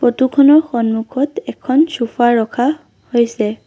Photo খনৰ সন্মুখত এখন ছোফা ৰখা হৈছে।